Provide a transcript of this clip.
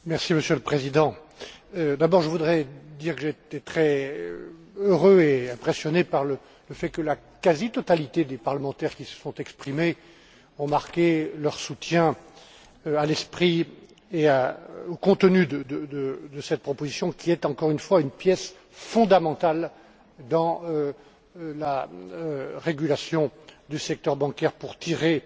Monsieur le Président, d'abord je voudrais dire que j'étais très heureux et impressionné par le fait que la quasi totalité des parlementaires qui se sont exprimés ont marqué leur soutien à l'esprit et au contenu de cette proposition, qui est, encore une fois, une pièce fondamentale dans la régulation du secteur bancaire, pour tirer